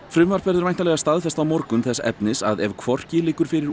frumvarp verður væntanlega staðfest á morgun þess efnis að ef hvorki liggur fyrir